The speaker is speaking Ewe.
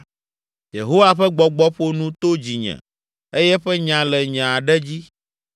“Yehowa ƒe Gbɔgbɔ ƒo nu to dzinye eye eƒe nya le nye aɖe dzi.